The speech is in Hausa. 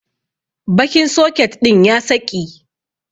Bakin soket din ya saƙi.